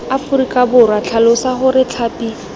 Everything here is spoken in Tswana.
aforika borwa tlhalosa gore tlhapi